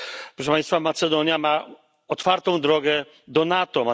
Proszę Państwa, Macedonia ma otwartą drogę do NATO.